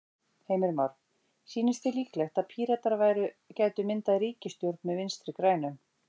Heimir Már: Sýnist þér líklegt að Píratar gætu myndað ríkisstjórn með Vinstri-grænum?